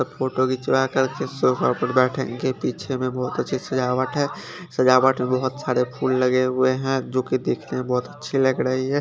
Photo के पीछे में बोहोत अच्छी सजावट है सजावट बोहोत सारे फूल लगे हुए है जो की दिखने में बोहोत ही अच्छे लग रहे है।